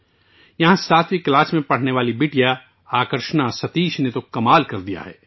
یہاں ساتویں جماعت میں پڑھنے والی ایک لڑکی آکارشنا ستیش نے حیرت انگیز کام کیا ہے